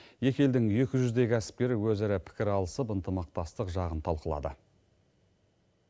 екі елдің екі жүздей кәсіпкері өзара пікір алысып ынтымақтастық жағын талқылады